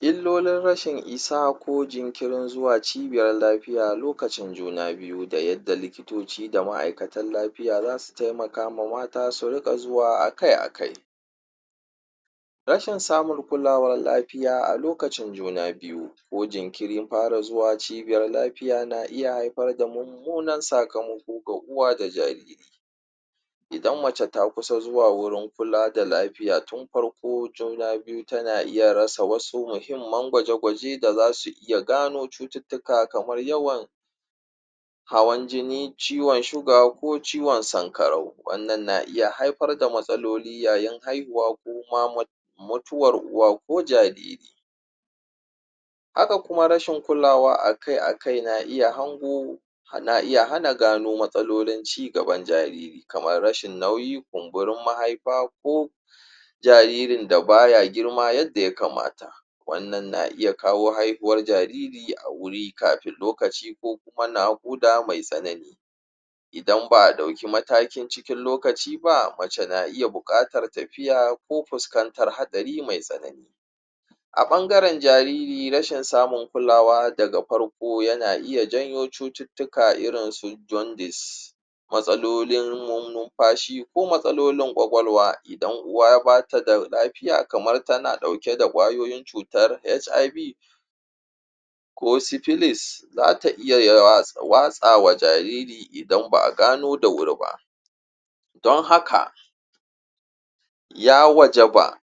illolin rashin isa ko jinƙirin zuwa cibiyar lafiya lokacin juna biyu da yadda likitoci da ma'aikatan lafiya zasu taimakama mata su riƙa zuwa akai akai rashin samun kulawar lafiya a lokacin juna biyu ko jinkirin fara zuwa cibiyar lafiya na iya haifar da mummunan sakamako ko ga uwa da jariri idan mace ta kusa zuwa wurin kula da lafiya tun farko juna biyu tana iya rasa wasu muhimman gawaje gwaje da zasu iya cututtuka kamar yawan hawan jinii ciwan suga ko ciwan sankarau wannan na iya haifar da matsaloli yayi haihuwa ko ma mutuwar uwa ko jariri haka kuma rashin kulawa a kai akai na iya hangu na iya hana gano matsalolin cigaban jariri kamar rashin nauyi kunburin mahaifa ko jaririn da baya girma yadda ya kamata wannan na iya kawo haihuwar jariri a wuri kafin lokaci ko kuma naƙuda mai tsanani idan ba a ɗauke mataki cikin lokaci ba mace na iya buƙatar tafiya ko fuskantar haɗari mai tsanani a ɓangaran jariri rashin samun kulawa daga farko yana iya janyo cututtuka irin jundis matsalolin nunfashi ko matsalolin ƙwaƙwalwa idan uwa bata da lafiya kamar tana ɗauke da ƙwayoyin cutar HIV ko sipilis zata iya watsawa jariri idan ba a gano da wuri ba don haka ya wajaba